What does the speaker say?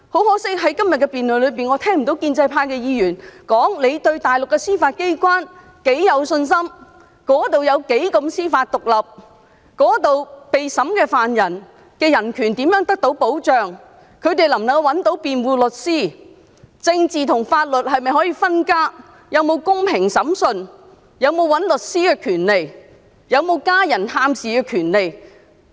可惜，在今天的辯論中，我聽不到建制派議員提及他們對大陸司法機關有多大信心，當地的司法獨立有多高水平、受審疑犯的人權怎樣得到保障、疑犯能否找到辯護律師、政治和法律是否分家、是否有公平審訊、是否有聘用律師的權利、是否有被家人探視的權利等。